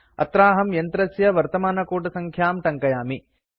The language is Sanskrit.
अत्राहं यन्त्रस्य वर्तमानकूटसङ्ख्यां टङ्कयामि